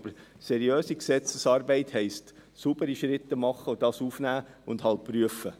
Aber seriöse Gesetzesarbeit heisst, saubere Schritte zu machen, dies aufzunehmen und halt zu prüfen.